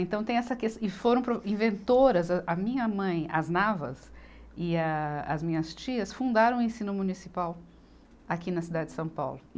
Então tem essa ques, e foram pro, inventoras, a minha mãe, as Navas e a as minhas tias, fundaram o ensino municipal aqui na cidade de São Paulo.